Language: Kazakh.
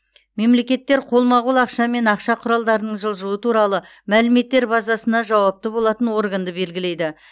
мемлекеттер қолма қол ақша мен ақша құралдарының жылжуы туралы мәліметтер базасына жауапты болатын органды белгілейді